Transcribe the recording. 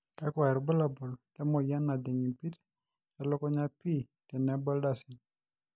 kakuai irbulabol le moyian najing' impit e lukunya p tenebo ildasin